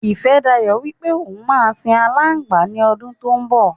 Ifẹ́dayọ̀ wípé òun má sìn alangba ní ọdún tó ń bò.